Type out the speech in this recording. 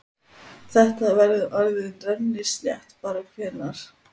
Þetta verður orðið rennislétt bara hvenær?